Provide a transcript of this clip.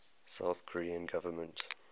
south korean government